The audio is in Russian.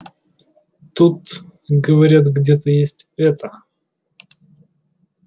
тут говорят где-то есть это